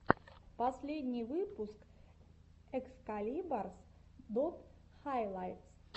последний выпуск экскалибарс дот хайлайтс